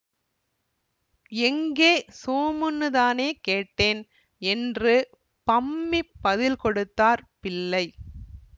எங்கே சோமுன்னுதானே கேட்டேன் என்று பம்மிப் பதில் கொடுத்தார் பிள்ளை